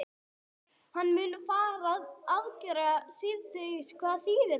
Hann mun fara í aðgerð síðdegis og hvað þýðir það?